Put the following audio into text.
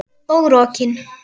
Og rokin.